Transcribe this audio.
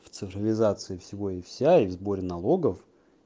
в цифровизации всего и вся и в сборе налогов